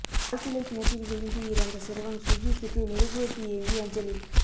ஆழ்துளை கிணற்றில் விழுந்து இறந்த சிறுவன் சுா்ஜித்துக்கு மெழுகுவா்த்தி ஏந்தி அஞ்சலி